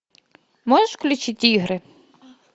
можешь включить игры